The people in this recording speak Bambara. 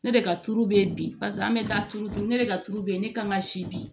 Ne de ka tulu be yen bi an bɛ taa tuuru dun ne de ka tulu be yen ne kan ka si bi